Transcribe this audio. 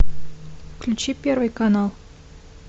включи первый канал